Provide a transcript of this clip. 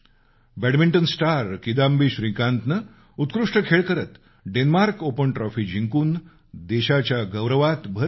badminton star Kidambi श्रीकांतनं उत्कृष्ट खेळ करत डेन्मार्क ओपन ट्रॉफी जिंकून देशाच्या गौरवात भर घातली